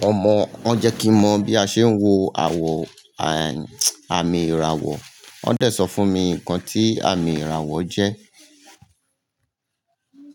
Wọ́n mọ, wọ́n jẹ́ kí n mọ bí a ṣe ń wo àwọ̀ àmì ìràwọ̀. Wọ́n dẹ̀ sọ fún mi nǹkan tí àmì ìràwọ̀ jẹ́.